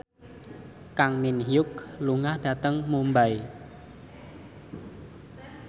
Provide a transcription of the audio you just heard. Kang Min Hyuk lunga dhateng Mumbai